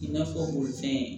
I n'a fɔ bolifɛn